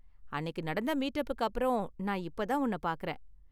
அன்னிக்கு நடந்த மீட்அப்புக்கு அப்பறம் நான் இப்போ தான் உன்ன பார்க்கறேன்.